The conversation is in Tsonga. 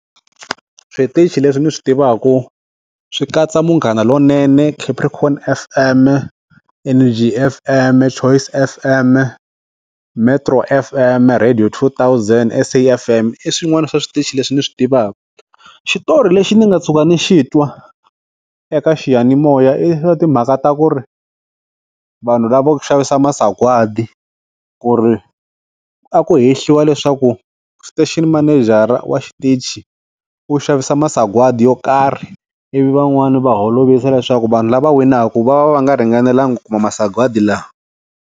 Switichi leswi ni swi tivaka swi katsa Munghana lonene, Capricorn F_M, Energy F_M, Choice F_M, Metro F_M, radio 2000, S_A F_M, i swin'wana swa switichi leswi ni swi tivaka. Xitori lexi ni nga tshuka ni xi twa eka xiyanimoya i timhaka ta ku ri vanhu lavo xavisa masagwadi ku ri a ku hehliwa leswaku estation menejara wa xitachi u xavisa masagwadi yo karhi ivi van'wani va holovisa leswaku vanhu lava winaka va va va nga ringanelanga ku kuma masagwadi lawa.